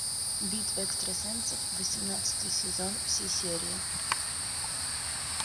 битва экстрасенсов восемнадцатый сезон все серии